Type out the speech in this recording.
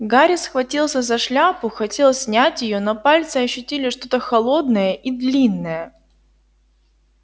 гарри схватился за шляпу хотел снять её но пальцы ощутили что-то холодное и длинное